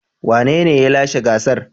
Wanene ya lashe gasar.